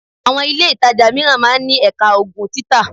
Àwọn ilé ìtajà mìíràn máa ń ní Ẹ̀ka Oògùn títa